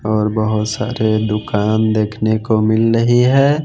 और बहुत सारे दुकान देखने को मिल रही है।